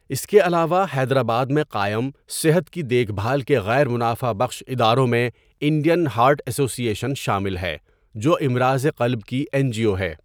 اس کے علاوہ، حیدرآباد میں قائم صحت کی دیکھ بھال کے غیر منافع بخش اداروں میں انڈین ہارٹ ایسوسی ایشن شامل ہے، جو امراض قلب کی این جی او ہے۔